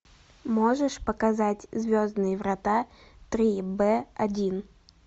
можешь показать звездные врата три б один